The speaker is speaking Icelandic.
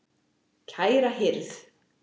Kæra hirð.